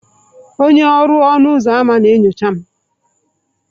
Onye ọrụ ọnụ ụzọ ámá na-enyocha m.